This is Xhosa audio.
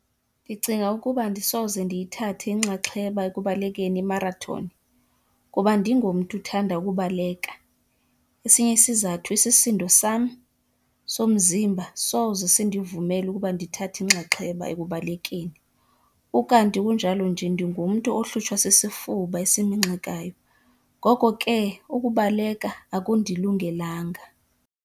Ndicinga ukuba andisoze ndiyithathe inxaxheba ekubalekeni imarathoni kuba andingomntu uthanda ukubaleka. Esinye isizathu, isisindo sam somzimba soze sindivumele ukuba ndithathe inxaxheba ekubalekeni, ukanti kunjalo nje ndingumntu ohlutshwa sisifuba eseminxekayo ngoko ke ukubaleka akundilungelanga.